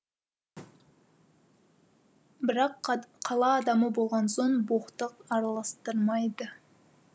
бірақ қала адамы болған соң боқтық араластырмайды